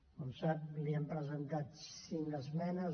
com sap li hem presentat cinc esmenes